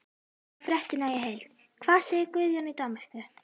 Sjá fréttina í heild: Hvað segir Guðjón í Danmörku?